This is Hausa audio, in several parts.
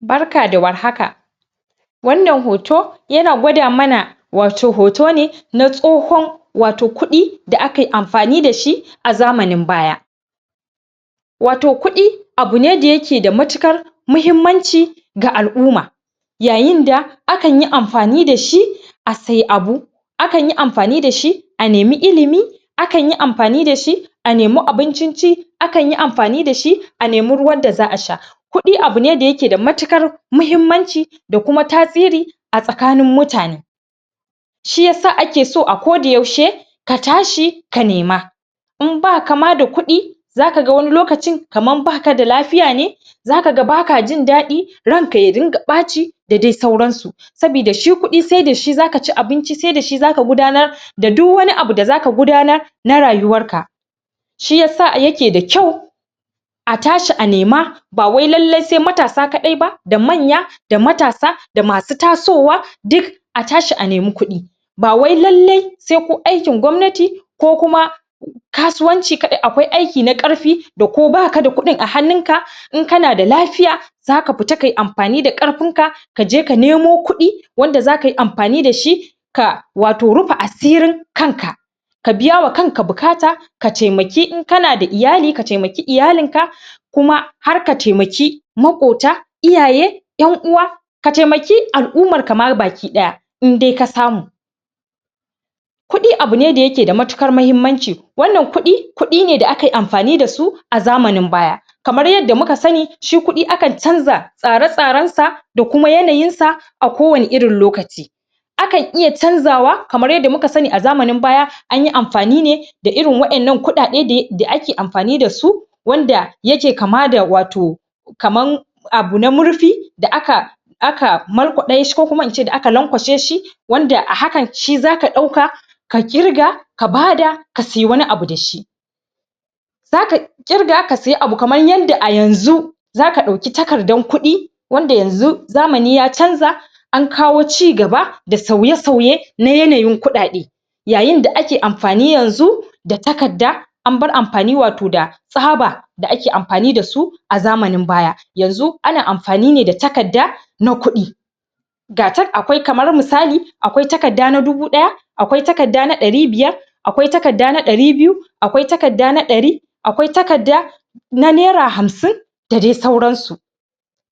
Barka da warhaka wannan hoto yana gwada mana wato hoto ne na tsohon kuɗi wato kuɗi da akai amfani dashi a zamanin baya wato kuɗi abune da yake da matuƙar mahimmamnci ga al'umma yayin da, akan yi amfani dashi a siyi abu akan yi amfani dashi a nemi ilimi akan yi amfani dashi a nemi abuncin ci akan yi amfan dashi a nemi ruwan da za'a sha kuɗi abun ne da yake da matuƙar mahimmanci da kuma tasiri a tsakanin mutane shiyasa ake so a koda yaushe ka tashi ka nema in baka ma da kuɗi zaka ga wani lokacin kamar baka da lafiya ne zaka ga baka jin daɗi ranka ya dunga ɓaci da dai sauransu sabida shi kuɗi sai dashi zaka ci abinci, sai dashi zaka gudanar da duk wani abu da zaka gudanar na rayuwar ka shiyasa yake da kyau a tashi a nema bawai lallai sai matasa kaɗai ba da manya, da matasa, da masu tasowa duk a tashi a nemi kuɗi ba wai lallai sai ko aikin gwamnati ko kuma kasuwanci kaɗai, akwai na ƙarfi da ko baka da kuɗin a hannunka, in kana da lafiya zaka fita tayi amfani da ƙarfin ka, kaje ka nemo kuɗi wanda za kayi amfani dashi ka wato rufa asirin kanka ka biyawa kanka buƙata ka taimaki, in kana da iyali ka taimaki iyalin ka kuma har ka taimaki maƙota iyaye 'yan uwa ka taimaki al'umarka ma gabaki ɗaya idai ka samu kuɗi abu ne da yake da matuƙar mahimmanci wannan kuɗi, kuɗi da akai amfani dasu a zamanin baya kamar yadda muka sani, shi kuɗi akan canza tsare-tsaren sa, da kuma yanayin sa a kowanne irin lokaci kan iya canzawa, kamar yadda muka sani a zamann baya, anyi amfani ne da irin wannan kuɗaɗe um da ake amfani dasu wanda yake kama da wato kamar abu na murfi da aka aka markwaɓe shi ko kuma in ce da aka lankwashe shi wanda a hakan shi zaka ɗauka ka ƙirga ka bada ka siyi wani abu dashi zaka ƙirga ka siyi abu kamar yadda a yanzu zaka ɗauki takardar kuɗi wanda yanzu zamani ya canza an kawo cigaba, da sauye-sauye na yanayin kuɗaɗe yayin da ake amfani yanzu da takarda an bar amfani wato da tsaba da ake amfani dasu a zamanin baya yanzu ana amfani ne da takarda na kuɗi gata akwai kamar misali, akwai takarda na dubu ɗaya akwai takarda na ɗari biyar akwai takarda na ɗari biyu akwai takarda na ɗari akwai takarda na Naira Hamsin da dai sauransu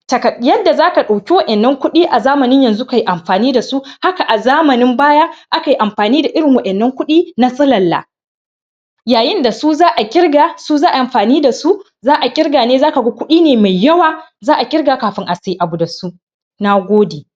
talar yadda zaka ɗauki wa'yan nan kuɗi a zaman yanzu kayi amfani dasu, haka a zamanin baya akai amfani da irin wannan kuɗi na silalla yayin da su za'a ƙirga, su za'ayi amfani dasu za'a ƙirga ne, zaka ga kuɗi mai yawa za'a ƙirga kafin a siye abu dasu. Nagode